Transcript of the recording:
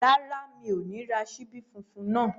Rárá, mi ò ní ra ṣíbí funfun náà